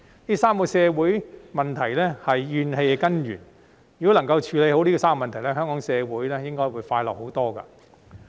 這3個社會問題是怨氣的根源，如果能夠處理好這3個問題，香港社會應該會快樂很多。